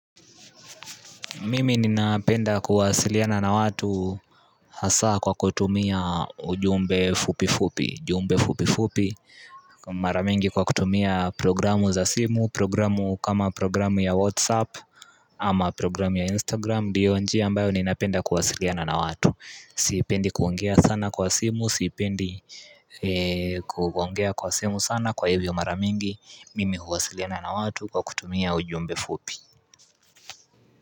Mimi ninapenda kuwasiliana na watu hasa kwa kutumia ujumbe fupi fupi jumbe fupi fupi mara mingi kwa kutumia programu za simu programu kama programu ya Whatsapp ama programu ya Instagram ndio njia ambayo ninapenda kuwasiliana na watu Sipendi kuongea sana kwa simu, sipendi kuongea kwa simu sana kwa hivyo mara mingi Mimi huwasiliana na watu kwa kutumia ujumbe fupi.